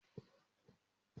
Mo so pé kí o mú dígí wa!